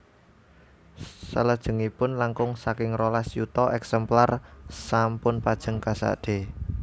Salajengipun langkung saking rolas yuta èksemplar sampun pajeng kasadé